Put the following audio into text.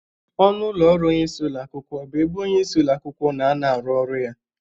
Ọnụ ụlọ ọrụ onyeisi ụlọ akwụkwọ bụ ebe onyeisi ụlọ akwụkwọ na-anọ arụ ọrụ ya.